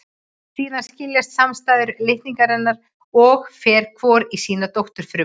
Síðan skiljast samstæðu litningarnir að og fer hvor í sína dótturfrumu.